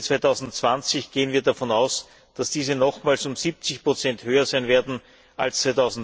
Für 2020 gehen wir davon aus, dass sie nochmals um 70 höher sein werden als